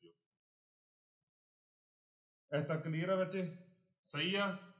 ਇੱਥੇ ਤੱਕ clear ਹੈ ਬੱਚੇ ਸਹੀ ਆ।